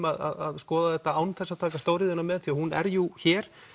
að skoða þetta án þess að taka stóriðjuna með því hún er jú hér